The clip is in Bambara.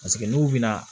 Paseke n'u bɛna